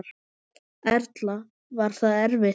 Erla: Var það erfitt?